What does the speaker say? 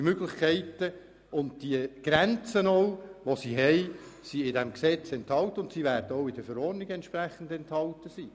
Diese Möglichkeiten und auch die Grenzen sind im Gesetz enthalten und werden auch in den Verordnungen entsprechend enthalten sein.